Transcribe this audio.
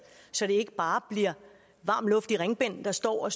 så det ikke bare bliver varm luft i ringbind der står og